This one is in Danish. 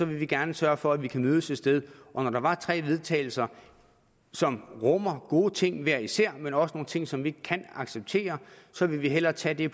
vil vi gerne sørge for at vi kan mødes et sted og når der er tre vedtagelse som rummer gode ting hver især men også nogle ting som vi ikke kan acceptere så vil vi hellere tage det